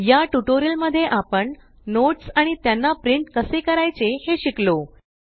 या ट्यूटोरियल मध्ये आपण नोट्स आणि त्याना प्रिंट कसे करायचे हे शिकलो